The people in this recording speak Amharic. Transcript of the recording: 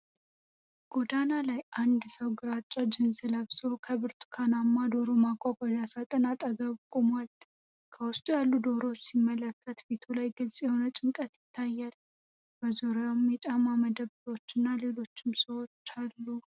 ጎዳና ላይ፣ አንድ ሰው ግራጫ ጂንስ ለብሶ ከብርቱካናማ ዶሮ ማጓጓዣ ሣጥን አጠገብ ቆሟል። ከውስጥ ያሉትን ዶሮዎች ሲመለከት ፊቱ ላይ ግልጽ የሆነ ጭንቀት ይታያል፣ በዙሪያው የጫማ መደብርና ሌሎች ሰዎች አሉ።